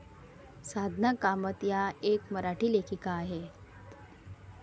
साधना कामत या एक मराठी लेखिका आहेत.